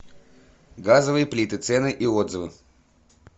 газовые плиты цены и отзывы